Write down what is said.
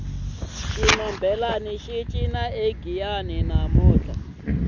xinhombelani xi cina egiyani namuntlha